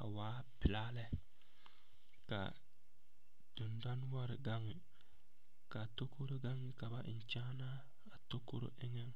a waa pelaa lɛ ka a dendɔnoɔre gaŋ ka a takoro meŋ ka ba eŋ kyaanaa a takoro eŋɛŋ.